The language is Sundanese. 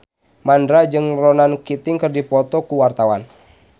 Mandra jeung Ronan Keating keur dipoto ku wartawan